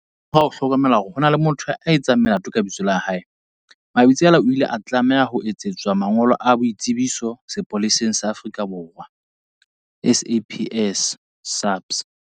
Ka morao ho hlokomela hore ho na le motho ya etsang melato ka lebitso la hae, Mabitsela o ile a tlaleha ho utswetswa mangolo a boitsebiso sepoleseng sa Afrika Borwa, SAPS.